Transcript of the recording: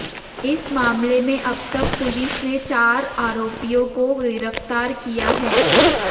इस मामले में अब तक पुलिस ने चारा आरोपियों को गिरफ्तार किया है